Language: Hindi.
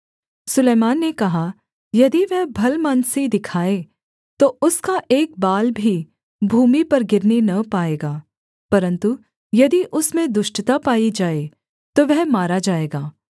सुलैमान ने कहा यदि वह भलमनसी दिखाए तो उसका एक बाल भी भूमि पर गिरने न पाएगा परन्तु यदि उसमें दुष्टता पाई जाए तो वह मारा जाएगा